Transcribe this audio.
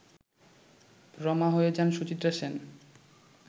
রমা হয়ে যান সুচিত্রা সেন